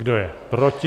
Kdo je proti?